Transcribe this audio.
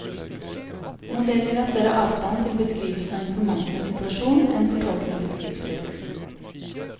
Modeller har større avstand til beskrivelsene av informantens situasjon enn fortolkende beskrivelser.